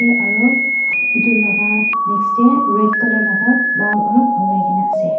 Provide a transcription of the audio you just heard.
aru etu laga next teh red colour laga wall alop olai ke na ase.